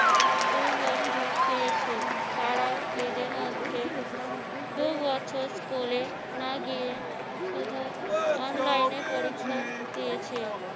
এইবছর দিয়েছে তারাও এদের মধ্যে দুবছর স্কুলে না গিয়ে শুধু online এ পরীক্ষা দিয়েছে।